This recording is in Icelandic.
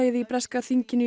í breska þinginu